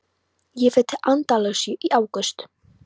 Ég fer til Andalúsíu í ágúst.